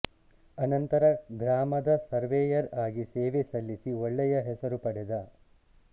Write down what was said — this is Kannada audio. ಅನಂತರ ಗ್ರಾಮದ ಸರ್ವೆಯರ್ ಅಗಿ ಸೇವೆ ಸಲ್ಲಿಸಿ ಒಳ್ಳೆಯ ಹೆಸರು ಪಡೆದ